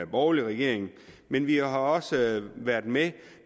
borgerlig regering men vi har også været med